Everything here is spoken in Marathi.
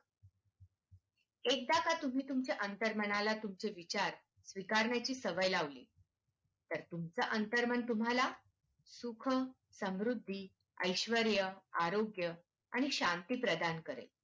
एकदा का तुम्ही तुमचे अंतर्मनाला तुमचे विचार स्वीकारण्याची सवय लावली तुमचे अंतर्मन तुम्हाला सुख समृद्धी, ऐश्वर्य, आरोग्य आणि शांती प्रदान करेल.